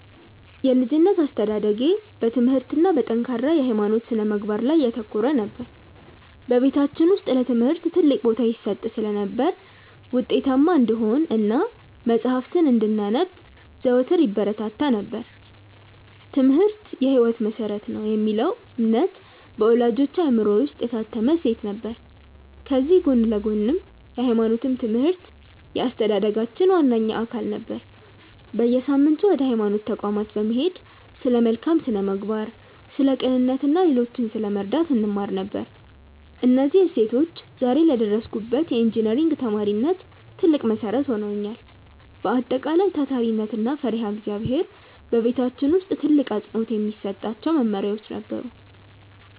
የልጅነት አስተዳደጌ በትምህርት እና በጠንካራ የሃይማኖት ስነ-ምግባር ላይ ያተኮረ ነበር። በቤታችን ውስጥ ለትምህርት ትልቅ ቦታ ይሰጥ ስለነበር፣ ውጤታማ እንድንሆን እና መጽሐፍትን እንድናነብ ዘወትር ይበረታታ ነበር፤ "ትምህርት የህይወት መሰረት ነው" የሚለው እምነት በወላጆቼ አእምሮ ውስጥ የታተመ እሴት ነበር። ከዚህ ጎን ለጎንም የሃይማኖት ትምህርት የአስተዳደጋችን ዋነኛ አካል ነበር። በየሳምንቱ ወደ ሃይማኖት ተቋማት በመሄድ ስለ መልካም ስነ-ምግባር፣ ስለ ቅንነት እና ሌሎችን ስለመርዳት እንማር ነበር። እነዚህ እሴቶች ዛሬ ለደረስኩበት የኢንጂነሪንግ ተማሪነት ትልቅ መሰረት ሆነውኛል። በአጠቃላይ፣ ታታሪነት እና ፈሪሃ እግዚአብሔር በቤታችን ውስጥ ትልቅ አፅንዖት የሚሰጣቸው መመሪያዎቻችን ነበሩ።